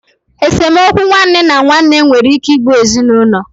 Esemokwu nwanne na nwanne nwere ike igbu ezinaulo.